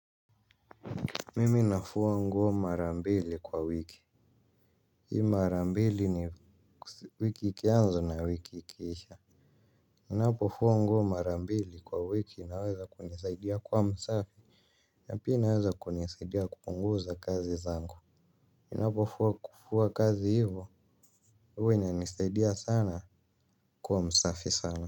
Mimi nafua nguo marambili kwa wiki. Hii marambili ni wiki ikiaanza na wiki ikiisha nnapo fua nguo mara mbili kwa wiki inaweza kunisaidia kua msafi. Napia inaweza kunisaidia kupunguza kazi zangu nnapo fuwa kufuwa kazi hivo. Uwa inanisaidia sana kwa msafi sana.